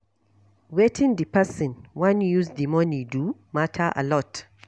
Wetin di person wan use di money do matter alot